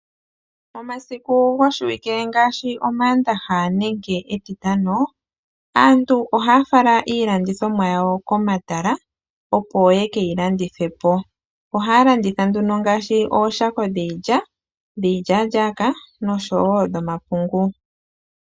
Omasiku goshiwike ngaashi omaandaha nenge etitano, aantu ohaya fala iilandithomwa yawo komatala, opo ye ke yi landithe po. Ohaya landitha nduno ngashi ooshako dhiilya, dhiilyalyaka noshowo dhomapungu.